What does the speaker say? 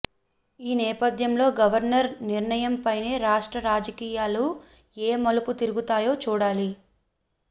ఈ నేపథ్యంలో గవర్నర్ నిర్ణయంపైనే రాష్ర్ట రాజకీయాలు ఏ మలుపు తిరుగుతాయో చూడాలి